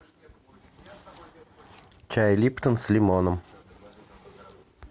чай липтон с лимоном